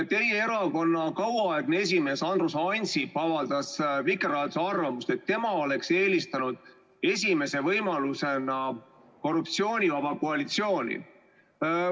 Teie erakonna kauaaegne esimees Andrus Ansip avaldas Vikerraadios arvamust, et tema oleks eelistanud esimese võimalusena korruptsioonivaba koalitsiooni.